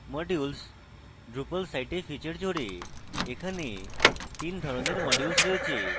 modules drupal সাইটে feature জোড়ে এখানে তিন ধরণের modules রয়েছে